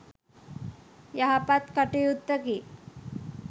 යහපත් කටයුත්තකි